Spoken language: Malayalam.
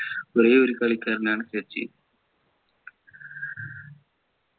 ഒരേയൊരു കളിക്കാരനാണ് സച്ചിൻ